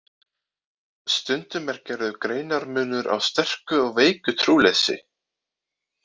Stundum er gerður greinarmunur á sterku og veiku trúleysi.